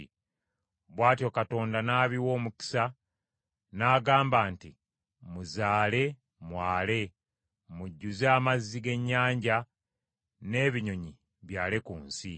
Bw’atyo Katonda n’abiwa omukisa n’agamba nti, “Muzaale mwale, mujjuze amazzi g’ennyanja, n’ebinyonyi byale ku nsi.”